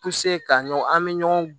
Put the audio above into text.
ka ɲɔgɔn an bɛ ɲɔgɔn